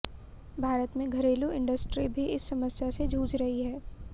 भारत में घरेलू इंडस्ट्री भी इस समस्या से जूझ रही है